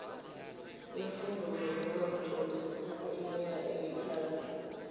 iimfundo zokuba mtloli zithatho iminyaka emithathu